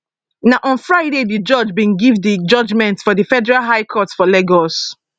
na on friday di judge bin give di judgment for di federal high court for lagos